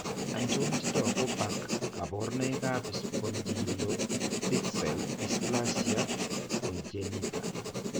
Achon chetogu bak kaborunoik ab Spondyloepiphtseal dysplasia congenita?